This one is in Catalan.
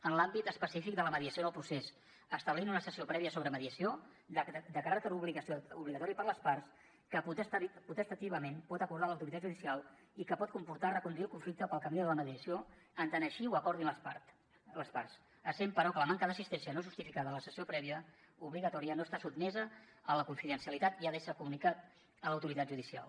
en l’àmbit específic de la mediació en el procés establir una sessió prèvia sobre mediació de caràcter obligatori per a les parts que potestativament pot acordar l’autoritat judicial i que pot comportar reconduir el conflicte pel camí de la mediació en tant que així ho acordin les parts però la manca d’assistència no justificada a la cessió prèvia obligatòria no està sotmesa a la confidencialitat i ha d’ésser comunicada a l’autoritat judicial